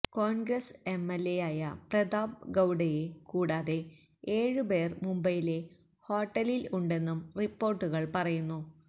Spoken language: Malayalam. കോണ്ഗ്രസ് എം എല് എയായ പ്രതാപ് ഗൌഡയെ കൂടാതെ ഏഴ് പേര് മുംബൈയിലെ ഹോട്ടലില് ഉണ്ടെന്നും റിപ്പോര്ട്ടുകള് പറയുന്നു